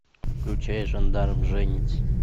включай жандарм женится